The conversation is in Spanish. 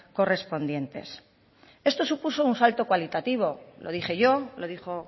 correspondientes esto supuso un salto cualitativo lo dije yo lo dijo